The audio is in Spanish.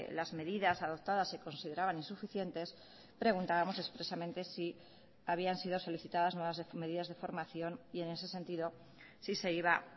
las medidas adoptadas se consideraban insuficientes preguntábamos expresamente si habían sido solicitadas nuevas medidas de formación y en ese sentido si se iba